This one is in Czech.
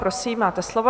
Prosím, máte slovo.